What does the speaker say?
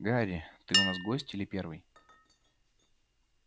гарри ты у нас гость или первый